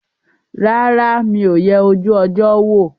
Rárá, mi ò yẹ ojú ọjọ́ wò